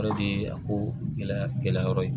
O de ye a ko gɛlɛya yɔrɔ ye